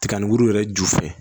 Tiga ni gurun yɛrɛ ju fɛ